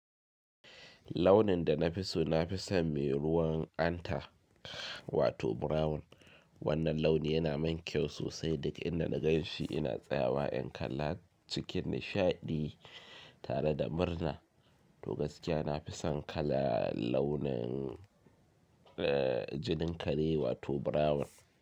Launin da na fi so nafi son mai ruwan anta wato brown. Wannan launi yana min kyau sosai. Duk inda na gan shi ina tsayawa. In kalla cikin nishaɗi tare da murna. To gaskiya nafi son kala launin jinin kare wato brown.